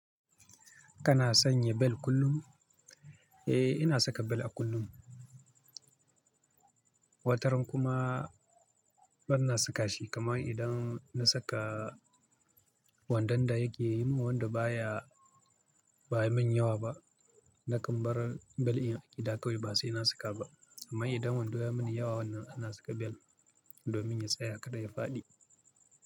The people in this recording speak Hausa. Kana sanya bel kullum? Eh, ina saka bel a kullum. Wataran kuma bana saka shi kaman idan na saka wandon da yake yi min wanda baya, baya min yawa ba. Na kan bar bel in a gida kawai ba sai na saka ba. Amma idan wando ya yi mini yawa wannan ana saka bel domin ya tsaya kada ya faɗi.